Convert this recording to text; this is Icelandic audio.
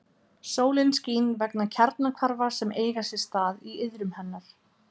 Sólin skín vegna kjarnahvarfa sem eiga sér stað í iðrum hennar.